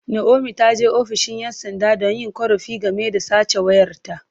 Naomi ta je ofishin ’yan sanda don yin korafi game da sace wayarta.